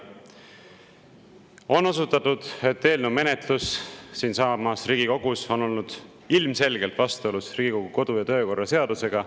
On osutatud, et eelnõu menetlus siinsamas Riigikogus on olnud ilmselgelt vastuolus Riigikogu kodu- ja töökorra seadusega.